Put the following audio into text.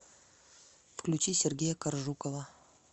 включи сергея коржукова